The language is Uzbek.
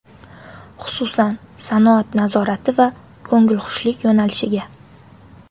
Xususan, sanoat nazorati va ko‘ngilxushlik yo‘nalishiga.